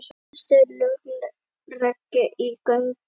Flestir löglegir í göngunum